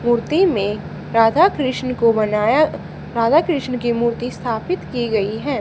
मूर्ति में राधा कृष्ण को बनाया राधा कृष्ण की मूर्ति स्थापित की गई है।